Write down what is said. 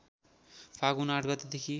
फाल्गुन ८ गतेदेखि